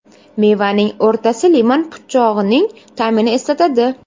Mevaning o‘rtasi limon po‘chog‘ining ta’mini eslatadi.